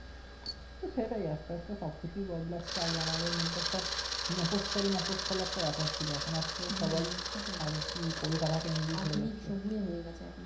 সেটাই আস্তে আস্তে সব কিছু বদলাচ্ছে আগে আমাদের মধ্যে একটা মফসসল মফসসল একটা ব্যাপার ছিল এখন আস্তে সবাই